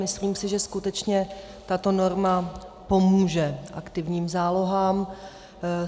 Myslím si, že skutečně tato norma pomůže aktivním zálohám.